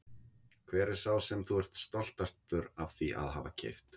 Hver er sá sem þú ert stoltastur af því að hafa keypt?